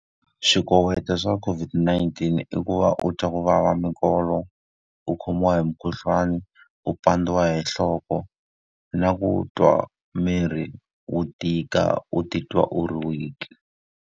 Swikoweto swa COVID-19 i ku va u twa ku vava minkolo, u khomiwa hi mukhuhlwani, u pandziwa hi nhloko, na ku twa mirhi wo tika u titwa u ri weak-i.